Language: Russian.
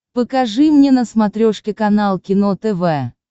покажи мне на смотрешке канал кино тв